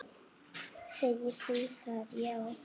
Segir hún það, já?